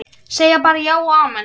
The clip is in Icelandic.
Segja bara já og amen.